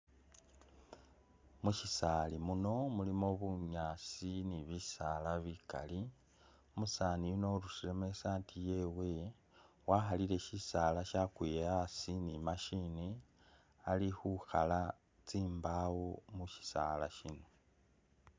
Mushisaali muno, mulimo bunyaasi ni bisaala bikali, umusaani yuno urusilemo i saati yewe wakhalile shisaala ni machine shyakwile asi ali khukhala tsimbawo mushisaala shino.